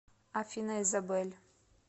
афина изабель